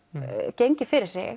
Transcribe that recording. gengið fyrir sig